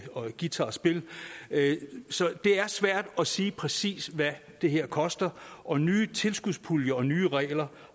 og guitarspil så det er svært at sige præcis hvad det her koster og nye tilskudspuljer og nye regler